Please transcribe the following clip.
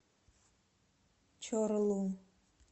чорлу